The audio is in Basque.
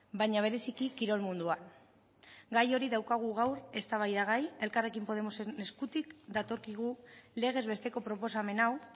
baina bereziki kirol munduan gai hori daukagu gaur eztabaidagai elkarrekin podemosen eskutik datorkigu legez besteko proposamen hau